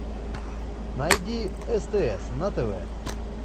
найди стс на тв